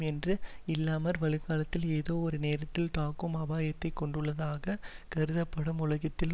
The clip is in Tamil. என்று இல்லாமல் வருங்காலத்தில் ஏதோ ஒரு நேரத்தில் தாக்கும் அபாயத்தை கொண்டுள்ளதாக கருதப்படும் உலகத்தில்